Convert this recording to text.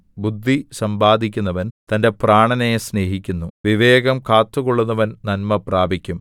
ബുദ്ധി സമ്പാദിക്കുന്നവൻ തന്റെ പ്രാണനെ സ്നേഹിക്കുന്നു വിവേകം കാത്തുകൊള്ളുന്നവൻ നന്മ പ്രാപിക്കും